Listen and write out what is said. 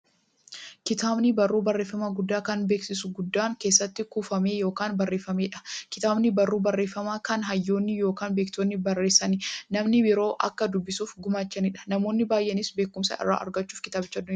Kitaabni barruu barreeffamaa guddaa, kan beekumsi guddaan keessatti kuufame yookiin barreefameedha. Kitaabni barruu barreeffamaa, kan hayyoonni yookiin beektonni barreessanii, namni biroo akka dubbisaniif gumaachaniidha. Namoonni baay'eenis beekumsa irraa argachuuf kitaabicha nidubbisu.